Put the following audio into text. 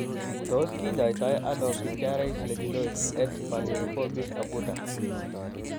Tos kinyoitaino pityriasis lichenoides et varioliformis acuta